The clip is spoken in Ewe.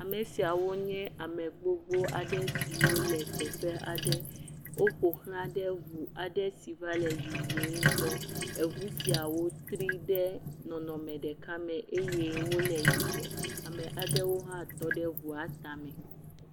Ame siawo nye ame gbogbo aɖe siwo le teƒe aɖe. woƒo ʋlã ɖe ŋu aɖe si va le yiyim gbɔ. Eŋu sia tri ɖe nɔnɔme ɖeka me eye wole yibɔ. Ame ɖeka hã tɔ ɖe eŋua tame.